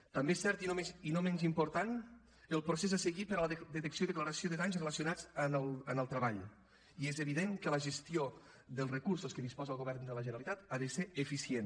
també és cert i no menys important el procés a seguir per a la detecció i declaració de danys relacionats amb el treball i és evident que la gestió dels recursos que disposa el govern de la generalitat ha de ser eficient